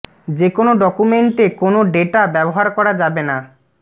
যে কোন ডকুমেন্টে কোনও ডেটা ব্যবহার করা যাবে না